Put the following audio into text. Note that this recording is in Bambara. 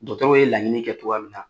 Dɔtɛriw ye lagɲinin kɛ togoya min na